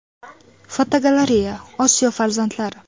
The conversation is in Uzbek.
Fotogalereya: Osiyo farzandlari.